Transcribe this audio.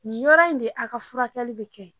Nin yɔrɔ in de a ka furakɛli be kɛ.